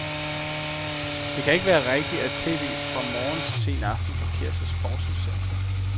Det kan ikke være rigtigt, at tv fra morgen til sen nat blokeres af sportsudsendelser.